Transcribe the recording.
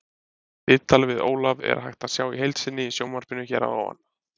Viðtalið við Ólaf er hægt að sjá í heild sinni í sjónvarpinu hér að ofan.